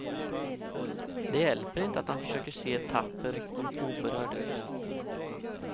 Det hjälper inte att han försöker se tapper och oberörd ut.